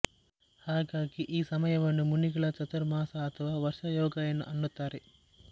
ಹಾಗಾಗಿ ಈ ಸಮಯವನ್ನು ಮುನಿಗಳ ಚಾತುರ್ಮಾಸ ಅಥವಾ ವರ್ಷಾಯೋಗ ಅನ್ನುತ್ತಾರೆ